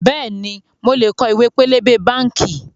Bẹ́ẹ̀ni, mo lè kọ ìwé pélébé báànkì